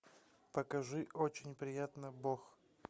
покажи очень приятно бог